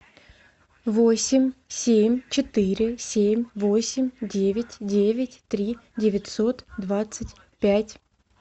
восемь семь четыре семь восемь девять девять три девятьсот двадцать пять